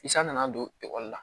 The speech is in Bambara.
San nana don ekɔli la